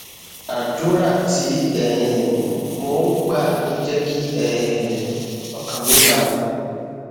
àdúrà tí um mò ń gbà ló jé kí um ọkàn mi balè